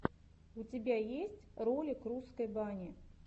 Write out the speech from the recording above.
у тебя есть ролик русской бани